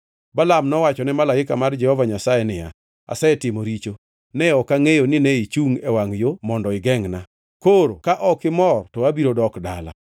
Balaam nowacho ne malaika mar Jehova Nyasaye niya, “Asetimo richo. Ne ok angʼeyo nine ichungʼ e wangʼ yo mondo igengʼna. Koro ka ok imor, to abiro dok dala.”